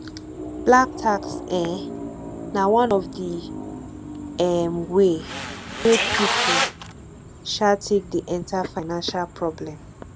black tax um na one of di um way wey pipo um take dey enter financial problem